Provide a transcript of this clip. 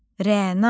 Rəna.